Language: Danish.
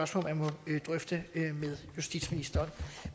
som man må drøfte med justitsministeren